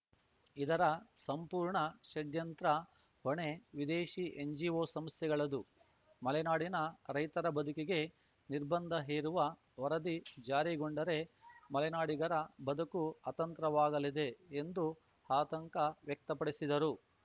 ಇದರ ಸಂಪೂರ್ಣ ಷಡ್ಯಂತ್ರ ಹೊಣೆ ವಿದೇಶಿ ಎನ್‌ಜಿಓ ಸಂಸ್ಥೆಗಳದ್ದು ಮಲೆನಾಡಿನ ರೈತರ ಬದುಕಿಗೆ ನಿರ್ಬಂಧ ಹೇರುವ ವರದಿ ಜಾರಿಗೊಂಡರೆ ಮಲೆನಾಡಿಗರ ಬದುಕು ಅತಂತ್ರವಾಗಲಿದೆ ಎಂದು ಆತಂಕ ವ್ಯಕ್ತಪಡಿಸಿದರು